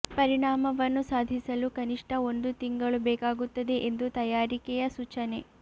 ಪರಿಣಾಮವನ್ನು ಸಾಧಿಸಲು ಕನಿಷ್ಟ ಒಂದು ತಿಂಗಳು ಬೇಕಾಗುತ್ತದೆ ಎಂದು ತಯಾರಿಕೆಯ ಸೂಚನೆ